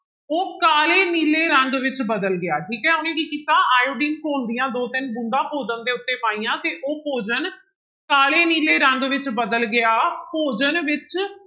ਉਹ ਕਾਲੇ ਨੀਲੇ ਰੰਗ ਵਿੱਚ ਬਦਲ ਗਿਆ ਠੀਕ ਹੈ, ਉਹਨੇ ਕੀ ਕੀਤਾ ਆਇਓਡੀਨ ਘੋਲ ਦੀਆਂ ਦੋ ਤਿੰਨ ਬੂੰਦਾਂ ਭੋਜਨ ਦੇ ਉੱਤੇ ਪਾਈਆਂ ਤੇ ਉਹ ਭੋਜਨ ਕਾਲੇ ਨੀਲੇ ਰੰਗ ਵਿੱਚ ਬਦਲ ਗਿਆ, ਭੋਜਨ ਵਿੱਚ